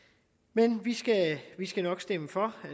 men vi skal vi skal nok stemme for jeg